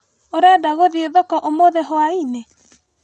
ũrenda gũthĩi thoko ũmũthĩ hwainĩ?